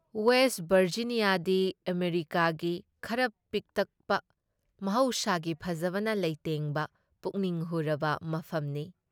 West ꯚꯔꯖꯤꯅꯤꯌꯥꯗꯤ ꯑꯃꯦꯔꯤꯀꯥꯒꯤ ꯈꯔ ꯄꯤꯛꯇꯛꯄ ꯃꯍꯧꯁꯥꯒꯤ ꯐꯖꯕꯅ ꯂꯩꯇꯦꯡꯕ ꯄꯨꯛꯅꯤꯡ ꯍꯨꯔꯕ ꯃꯐꯝꯅꯤ ꯫